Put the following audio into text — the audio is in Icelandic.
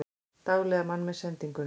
Dáleiða mann með sendingunum